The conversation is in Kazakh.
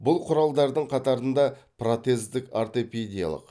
бұл құралдардың қатарында протездік ортопедиялық